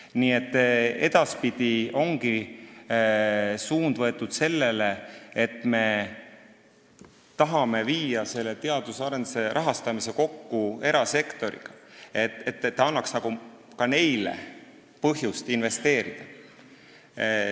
Nii et edaspidi ongi suund võetud sellele, et me tahame viia teadus- ja arendustegevuse rahastamise kokku erasektori huvidega, et see annaks ka neile põhjust investeerida.